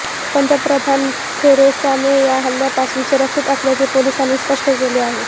पंतप्रधान Theresa May या हल्ल्यापासून सुरक्षित असल्याचे पोलिसांनी स्पष्ट केले आहे